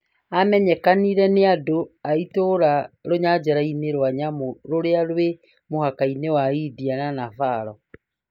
Amenyekanire nĩ andũ a itũra rũnyanjara-inĩ rwa nyamũ rũrĩa rwĩ mũhaka-inĩ wa India na nepal